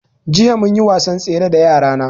Jiya munyi wasan tsere da yara na